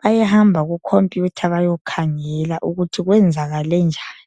bayahamba kukhompiyutha bayokhangela ukuthi kwenzakale njani.